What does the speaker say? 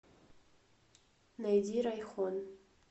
найди райхон